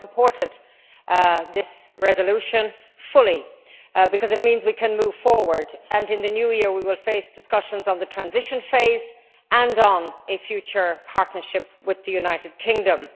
I fully supported this resolution, because it means we can move forward and in the new year we will face discussions on the transition phase and on a future partnership with the United Kingdom.